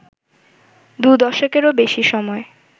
দু দশকেরও বেশি সময়